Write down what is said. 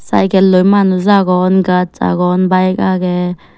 cycle oi manuj agon gaj agon bike agey.